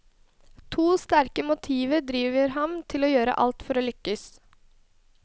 To sterke motiver driver ham til å gjøre alt for å lykkes.